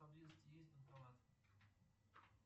поблизости есть банкомат